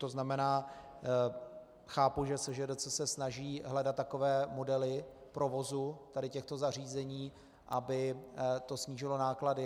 To znamená, chápu, že SŽDC se snaží hledat takové modely provozu tady těchto zařízení, aby to snížilo náklady.